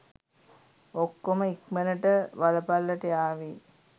ඔක්කොම ඉක්මනට වලපල්ලට යාවි.